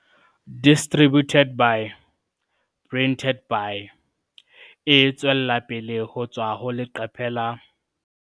Distributed by - Printed by - E tswella pele ho tswa ho leqephe la